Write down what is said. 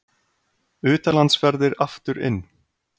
Utanlandsferðir aftur inn